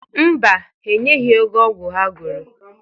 Mba, ha enyeghi ego ọgwụ ha goro.